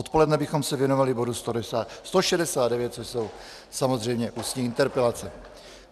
Odpoledne bychom se věnovali bodu 169, což jsou samozřejmě ústní interpelace.